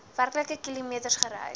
werklike kilometers gereis